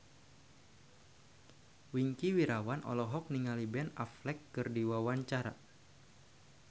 Wingky Wiryawan olohok ningali Ben Affleck keur diwawancara